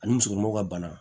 Ani musokɔnɔmaw ka bana